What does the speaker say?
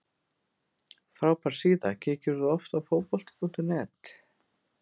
Frábær síða Kíkir þú oft á Fótbolti.net?